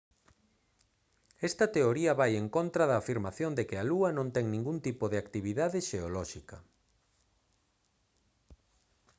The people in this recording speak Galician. esta teoría vai en contra da afirmación de que a lúa non ten ningún tipo de actividade xeolóxica